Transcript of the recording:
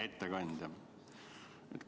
Hea ettekandja!